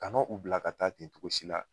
Kana u bila ka taa ten cogo si la.